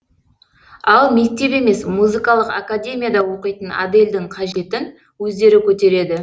ал мектеп емес музыкалық академияда оқитын адельдің қажетін өздері көтереді